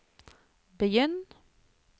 begynn